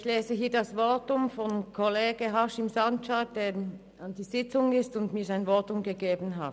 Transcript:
Ich lese hier das Votum von Kollege Sancar vor, der an der Sitzung in der Wandelhalle teilnimmt und mir sein Votum gegeben hat: